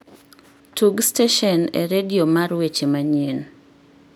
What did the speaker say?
tug stesen e redio mar weche manyien